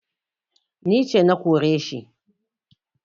Ni ce na kore shi